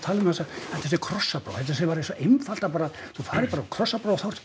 að þetta sé krossapróf þetta sé einfalt að bara þú færð bara krossapróf